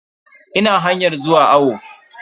Ina hanyan zuwa awo.